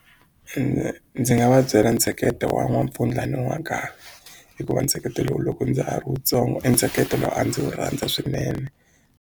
Ndzi nga va byela ntsheketo wa n'wampfundla na n'wanghala hikuva ntsheketo lowu loko ndza ha ri wutsongo i ntsheketo lowu a ndzi wu rhandza swinene.